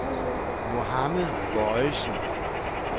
Mohammed Bojesen